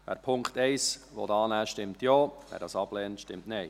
Wer den Punkt 1 annehmen will, stimmt Ja, wer dies ablehnt, stimmt Nein.